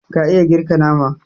ka iya girka nama